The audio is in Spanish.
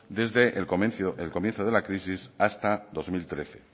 desde el comienzo de la crisis hasta dos mil trece